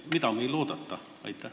Mida meil on oodata?